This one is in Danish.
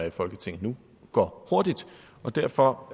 i folketinget nu går hurtigt og derfor